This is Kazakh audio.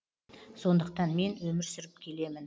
сондықтан мен өмір сүріп келемін